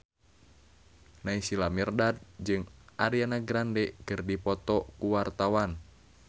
Naysila Mirdad jeung Ariana Grande keur dipoto ku wartawan